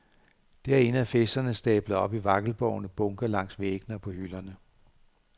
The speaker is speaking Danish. Derinde er fez'erne stablet op i vakkelvorne bunker langs væggene og på hylderne.